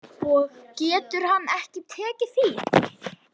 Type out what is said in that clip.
Og getur hann ekki tekið því?